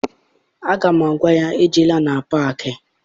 Aga m agwa ya ejela na paakị!